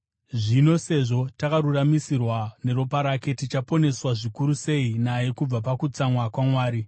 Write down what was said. Zvino sezvo takaruramisirwa neropa rake, tichaponeswa zvikuru sei naye kubva pakutsamwa kwaMwari!